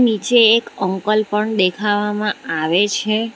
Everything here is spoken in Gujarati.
નીચે એક અંકલ પણ દેખાવામાં આવે છે.